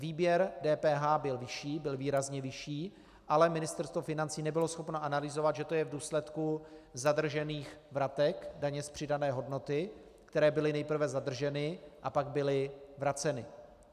Výběr DPH byl vyšší, byl výrazně vyšší, ale Ministerstvo financí nebylo schopno analyzovat, že to je v důsledku zadržených vratek daně z přidané hodnoty, které byly nejprve zadrženy a pak byly vraceny.